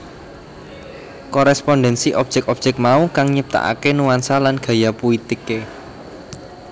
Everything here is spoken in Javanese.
Korespondensi objek objek mau kang nyiptakaké nuansa lan gaya puitiké